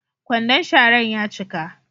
Kwandon sharan ya cika.